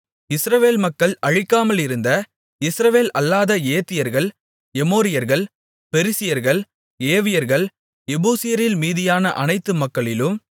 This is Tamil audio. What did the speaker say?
இஸ்ரவேல் மக்கள் அழிக்காமலிருந்த இஸ்ரவேல் அல்லாத ஏத்தியர்கள் எமோரியர்கள் பெரிசியர்கள் ஏவியர்கள் எபூசியரில் மீதியான அனைத்து மக்களிலும்